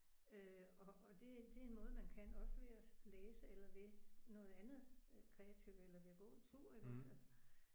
Øh og og det det er noget man kan også ved at læse eller ved noget andet kreativt eller ved at gå en tur iggås altså